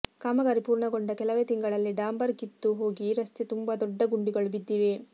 ಕಾಮಗಾರಿ ಪೂರ್ಣಗೊಂಡ ಕೆಲವೇ ತಿಂಗಳಲ್ಲಿ ಡಾಂಬರ್ ಕಿತ್ತು ಹೋಗಿ ರಸ್ತೆ ತುಂಬಾ ದೊಡ್ಡ ಗುಂಡಿಗಳು ಬಿದ್ದಿವೆ